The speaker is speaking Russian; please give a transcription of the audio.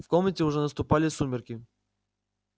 в комнате уже наступали сумерки